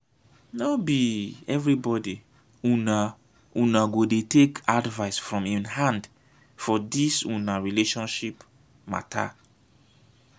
no be everybodi una una go dey take advice from im hand for dis una relationship mata.